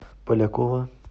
полякова